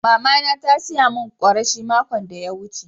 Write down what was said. Mama na ta siya mun kureshe makon de ya wuce.